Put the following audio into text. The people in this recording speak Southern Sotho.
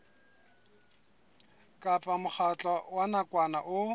kapa mokgatlo wa nakwana o